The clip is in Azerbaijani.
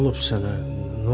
Nə olub sənə?